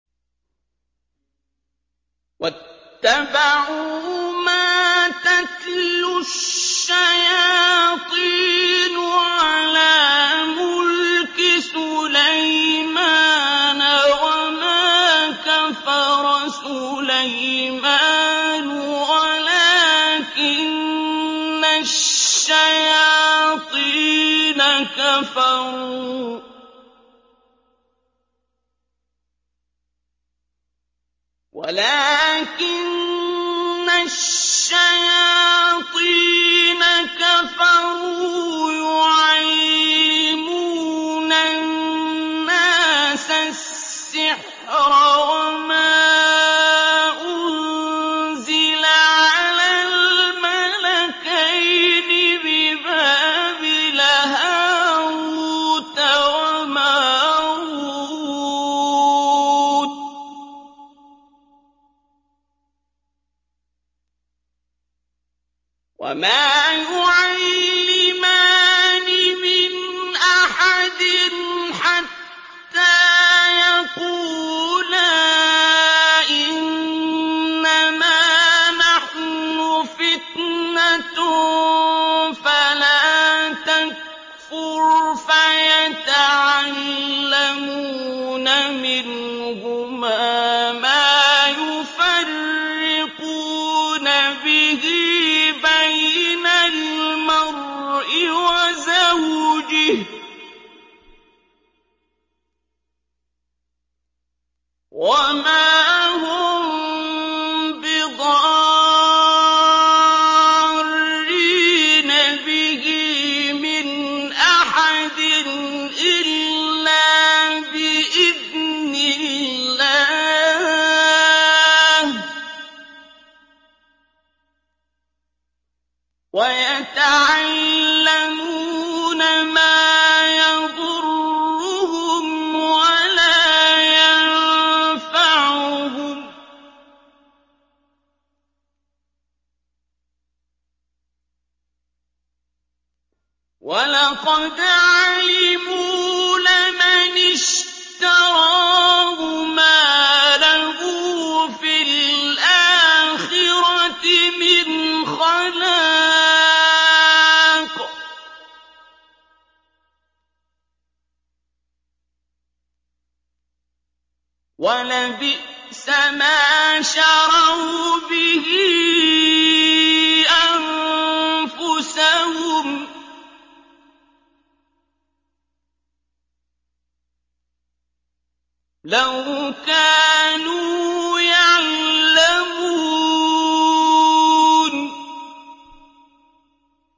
وَاتَّبَعُوا مَا تَتْلُو الشَّيَاطِينُ عَلَىٰ مُلْكِ سُلَيْمَانَ ۖ وَمَا كَفَرَ سُلَيْمَانُ وَلَٰكِنَّ الشَّيَاطِينَ كَفَرُوا يُعَلِّمُونَ النَّاسَ السِّحْرَ وَمَا أُنزِلَ عَلَى الْمَلَكَيْنِ بِبَابِلَ هَارُوتَ وَمَارُوتَ ۚ وَمَا يُعَلِّمَانِ مِنْ أَحَدٍ حَتَّىٰ يَقُولَا إِنَّمَا نَحْنُ فِتْنَةٌ فَلَا تَكْفُرْ ۖ فَيَتَعَلَّمُونَ مِنْهُمَا مَا يُفَرِّقُونَ بِهِ بَيْنَ الْمَرْءِ وَزَوْجِهِ ۚ وَمَا هُم بِضَارِّينَ بِهِ مِنْ أَحَدٍ إِلَّا بِإِذْنِ اللَّهِ ۚ وَيَتَعَلَّمُونَ مَا يَضُرُّهُمْ وَلَا يَنفَعُهُمْ ۚ وَلَقَدْ عَلِمُوا لَمَنِ اشْتَرَاهُ مَا لَهُ فِي الْآخِرَةِ مِنْ خَلَاقٍ ۚ وَلَبِئْسَ مَا شَرَوْا بِهِ أَنفُسَهُمْ ۚ لَوْ كَانُوا يَعْلَمُونَ